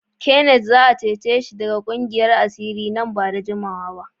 Kenneth za a cece shi daga ƙungiyar asiri nan ba da jimawa ba.